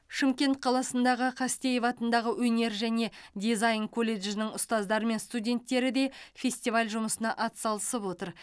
шымкент қаласындағы қастеев атындағы өнер және дизайн колледжінің ұстаздары мен студенттері де фестиваль жұмысына атсалысып отыр